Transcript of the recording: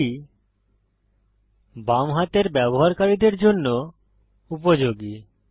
এটি বাম হাতের ব্যবহারকারীদের জন্য উপযোগী